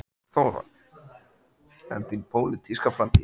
Þóra: En þín pólitíska framtíð?